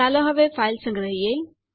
ચાલો હવે ફાઈલ સંગ્રહીયે